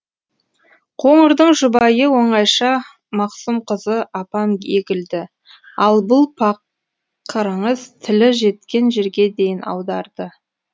қоңырдың жұбайы оңайша мақсұмқызы апам егілді ал бұл пақырыңыз тілі жеткен жерге дейін аударды